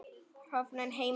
Horfinn heimur.